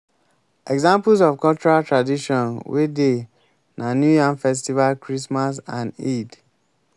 examples of cultural tradition wey dey na new yam festival christmas and eid